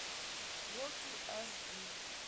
рокки аш ди